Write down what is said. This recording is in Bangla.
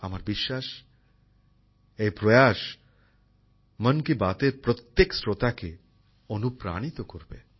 আমার বিশ্বাস এই প্রয়াস মান কি বাত এর প্রত্যেক শ্রোতাকে অনুপ্রাণিত করবে